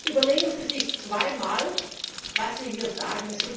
Überlegen Sie sich zweimal, was Sie hier sagen.